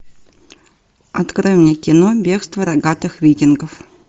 открой мне кино бегство рогатых викингов